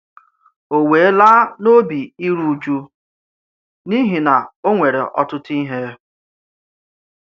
Ó wé lá n’òbì ìrù-ụ̀jù, n’ihi na ọ nwere ọ̀tụ̀tụ̀ íhè.